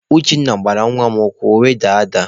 Uchenna gbara nwa mụ ụkwụ ọ were daa ada.